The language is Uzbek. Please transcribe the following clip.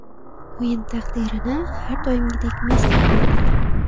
O‘yin taqdirini har doimgidek Messi hal qildi.